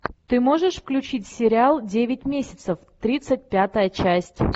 ты можешь включить сериал девять месяцев тридцать пятая часть